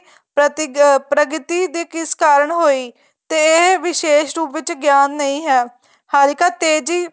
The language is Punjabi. ਪ੍ਰਗਤੀ ਦੇ ਕਿਸ ਕਾਰਨ ਹੋਈ ਤੇ ਇਹ ਵਿਸ਼ੇਸ ਰੂਪ ਵਿੱਚ ਗਿਆਨ ਨਹੀਂ ਹੈ ਹੱਲਕਾ ਤੇਜ਼ੀ